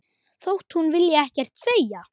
Þótt hún vilji ekkert segja.